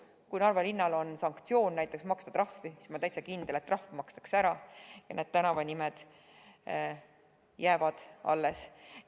Kui Narva linnal oleks näiteks sanktsioon maksta trahvi, siis ma olen täitsa kindel, et trahv makstaks ära, aga need tänavanimed jääksid alles.